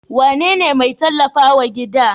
Wane ne mai tallafa wa gida?